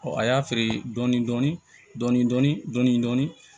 a y'a feere dɔɔnin dɔɔnin